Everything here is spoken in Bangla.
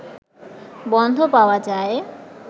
বন্ধ পাওয়া যায়